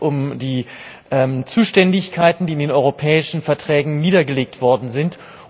Es geht um die Zuständigkeiten, die in den europäischen Verträgen niedergelegt worden sind.